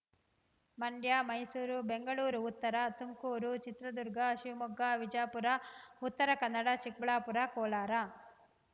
ಮಂಡ್ಯ ಮೈಸೂರು ಬೆಂಗಳೂರು ಉತ್ತರ ತುಮಕೂರು ಚಿತ್ರದುರ್ಗ ಶಿವಮೊಗ್ಗ ವಿಜಾಪುರ ಉತ್ತರ ಕನ್ನಡ ಚಿಕ್ಕಬಳ್ಳಾಪುರ ಕೋಲಾರ